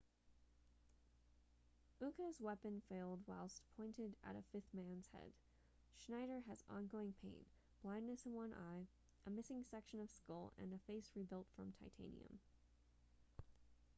uka's weapon failed whilst pointed at a fifth man's head schneider has ongoing pain blindness in one eye a missing section of skull and a face rebuilt from titanium